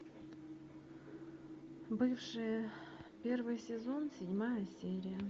бывшие первый сезон седьмая серия